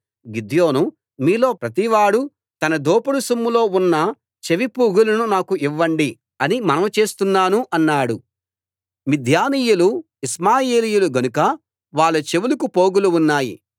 గిద్యోను మీలో ప్రతివాడూ తన దోపుడు సొమ్ములో ఉన్న చెవి పోగులను నాకు ఇవ్వండి అని మనవి చేస్తున్నాను అన్నాడు మిద్యానీయులు ఇష్మాయేలీయులు గనుక వాళ్ళ చెవులకు పోగులు ఉన్నాయి